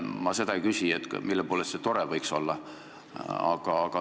Ma seda ei küsi, mille poolest see võiks tore olla.